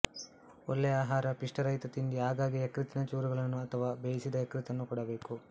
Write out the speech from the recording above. ಒಳ್ಳೆಯ ಆಹಾರ ಪಿಷ್ಟರಹಿತ ತಿಂಡಿ ಆಗಾಗ್ಗೆ ಯಕೃತ್ತಿನ ಚೂರುಗಳನ್ನು ಅಥವಾ ಬೇಯಿಸಿದ ಯಕೃತ್ತನ್ನು ಕೊಡಬೇಕು